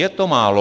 Je to málo.